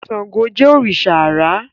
Ṣàngó Jé òrìṣà àrà